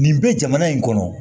Nin bɛ jamana in kɔnɔ